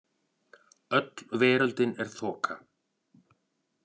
Öll veröldin er þoka.